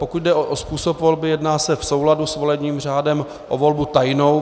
Pokud jde o způsob volby, jedná se v souladu s volebním řádem o volbu tajnou.